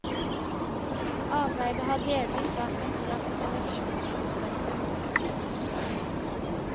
Arbeidet har delvis vært en slags seleksjonsprosess.